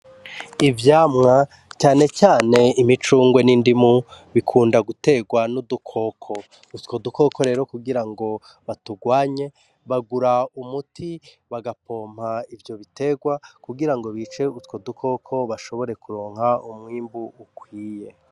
Ivyamwa cane cane imicungwe nindimu bikunda guterwa nudukoko utwo dukoko rero kugirango batugwanye bagura umuti bagapompa ivyo bitegwa kugira ngo bice utwo dukoko bashobore kuronka umwimbu ukwiye.